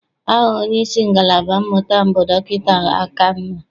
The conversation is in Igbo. Aha onyeisi ngalaba mmụta m bụ Dọkịta Akanna.